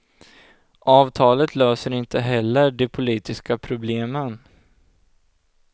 Avtalet löser inte heller de politiska problemen.